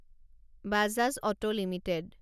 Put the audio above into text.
Bajaj auto limited